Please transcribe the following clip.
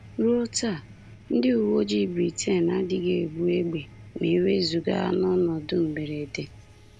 Ruo taa, ndị uwe ojii Britain adịghị ebu égbè ma e wezụga n’ọnọdụ mberede.